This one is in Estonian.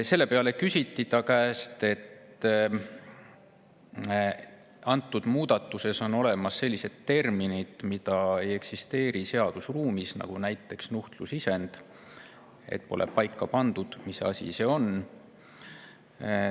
Talle, et muudatuses on sellised terminid, mida seadusruumis ei eksisteeri, näiteks nuhtlusisend – pole paika pandud, mis asi see on.